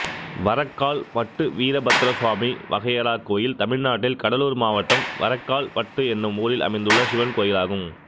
வரக்கால் பட்டு வீரபத்திரசுவாமி வகையறா கோயில் தமிழ்நாட்டில் கடலூர் மாவட்டம் வரக்கால் பட்டு என்னும் ஊரில் அமைந்துள்ள சிவன் கோயிலாகும்